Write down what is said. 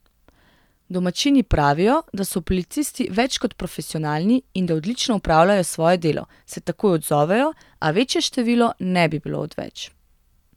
Domačini pravijo, da so policisti več kot profesionalni in da odlično opravljajo svoje delo, se takoj odzovejo, a večje število ne bi bilo odveč.